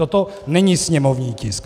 Toto není sněmovní tisk.